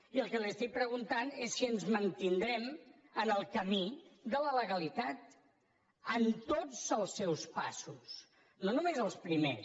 i el que li estic preguntant és si ens mantindrem en el camí de la legalitat en totsels primers